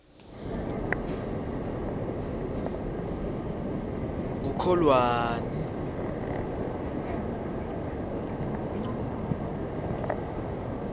kukholwane